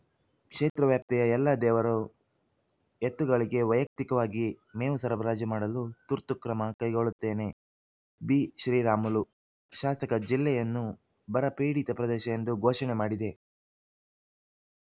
ಕ್ಷೇತ್ರ ವ್ಯಾಪ್ತಿಯ ಎಲ್ಲ ದೇವರ ಎತ್ತುಗಳಿಗೆ ವೈಯಕ್ತಿಕವಾಗಿ ಮೇವು ಸರಬರಾಜು ಮಾಡಲು ತುರ್ತು ಕ್ರಮ ಕೈಗೊಳ್ಳುತ್ತೇನೆ ಬಿಶ್ರೀರಾಮುಲು ಶಾಸಕ ಜಿಲ್ಲೆಯನ್ನು ಬರಪೀಡಿತ ಪ್ರದೇಶ ಎಂದು ಘೋಷಣೆ ಮಾಡಿದೆ